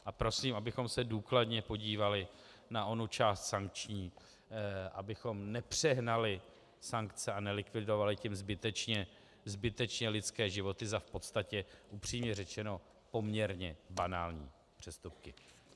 A prosím, abychom se důkladně podívali na onu část sankční, abychom nepřehnali sankce a nelikvidovali tím zbytečně lidské životy za v podstatě - upřímně řečeno - poměrně banální přestupky.